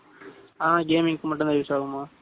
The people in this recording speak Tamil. அபோ gaming கு மட்டும் தான் use ஆகும